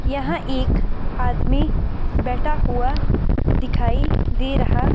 यहां एक आदमी बैठा हुआ दिखाई दे रहा--